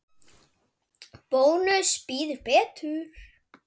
Bónus býður betur.